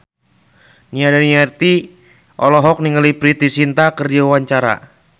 Nia Daniati olohok ningali Preity Zinta keur diwawancara